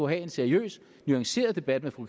have en seriøs nuanceret debat med fru